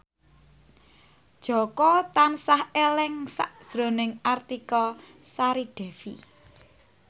Jaka tansah eling sakjroning Artika Sari Devi